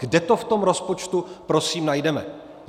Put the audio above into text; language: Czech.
Kde to v tom rozpočtu prosím najdeme?